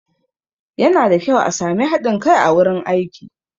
Yana da kyau a sami haɗin kai a wurin aiki